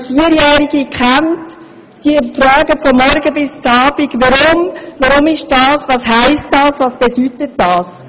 Wer Vierjährige kennt, weiss: Sie fragen von morgens bis abends – warum macht man dies, was bedeutet das, was heisst jenes?